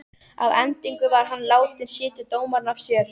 Að endingu var hann látinn sitja dóminn af sér.